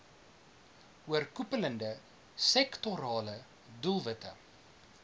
oorkoepelende sektorale doelwitte